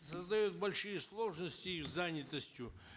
создает большие сложности с занятостью